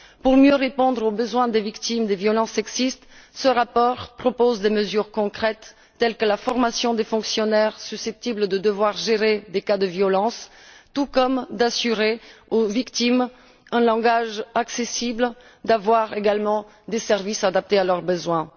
Pour mieux répondre aux besoins des victimes de violences sexistes, ce rapport propose des mesures concrètes, telles qu'assurer la formation des fonctionnaires susceptibles de devoir gérer des cas de violences, garantir aux victimes un langage accessible, et mettre en place des services adaptés à leurs besoins.